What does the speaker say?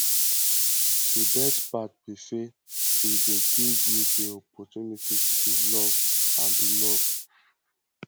di best part be say e dey give you di opportunity to love and be loved